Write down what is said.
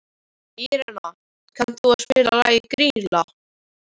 Írena, kanntu að spila lagið „Grýla“?